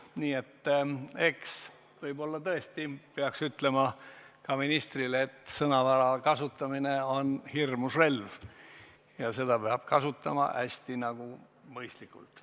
Nii et võib-olla tõesti peaks ütlema ka ministrile, et sõnavara on hirmus relv ja seda peab kasutama hästi mõistlikult.